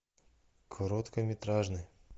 короткометражный